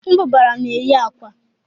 Mbụbara na-eyi akwa